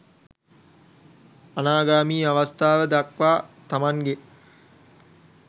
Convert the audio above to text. අනාගාමී අවස්ථාව දක්වා තමන්ගේ